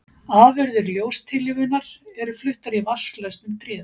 Afurðir ljóstillífunar eru fluttar í vatnslausn um tréð.